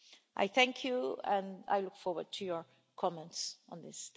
I thank you and I look forward to your comments on this.